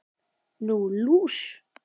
Nú, lús